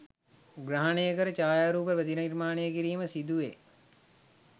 ග්‍රහණය කර ඡායාරූප ප්‍රතිනිර්මාණය කිරීම සිදුවේ.